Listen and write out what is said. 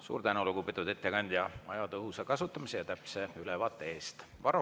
Suur tänu, lugupeetud ettekandja, aja tõhusa kasutamise ja täpse ülevaate eest!